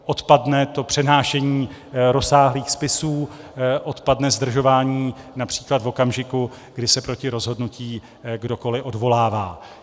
Odpadne to přenášení rozsáhlých spisů, odpadne zdržování například v okamžiku, kdy se proti rozhodnutí kdokoliv odvolává.